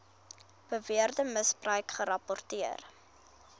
beweerde misbruik gerapporteer